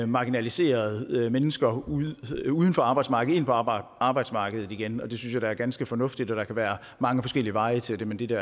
marginaliserede mennesker uden uden for arbejdsmarkedet ind på arbejdsmarkedet igen det synes er ganske fornuftigt og der kan være mange forskellige veje til det men dette